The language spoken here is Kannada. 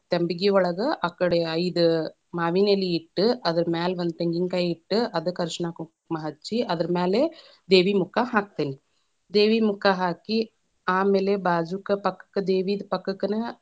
ತಂಬಗಿ ಒಳಗ್‌ ಆಕಡೆ ಐದ ಮಾವಿನೆಲೆ ಇಟ್ಟ, ಅದರ ಮ್ಯಾಲ ಒಂದ ತೆಂಗಿನಕಾಯಿ ಇಟ್ಟ, ಅದಕ್ಕ ಅರಷಣ, ಕುಂಕುಮ ಹಚ್ಚಿ ಅದರ ಮ್ಯಾಲೆ ದೇವಿ ಮುಖ ಹಾಕತೇನಿ, ದೇವಿ ಮುಖ ಹಾಕಿ, ಆಮೇಲೆ ಬಾಜುಕ ಪಕ್ಕಕ್ಕ ದೇವಿದ್‌ ಪಕ್ಕಕ್ಕನ.